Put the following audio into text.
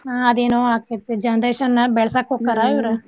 ಹಾ ಅದೇನೋ ಆಕ್ಕೇತ್ರಿ generation ಬೆಳ್ಸಾಕ್ ಹೊಕ್ಕಾರ ಇವ್ರ್.